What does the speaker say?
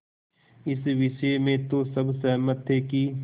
इस विषय में तो सब सहमत थे कि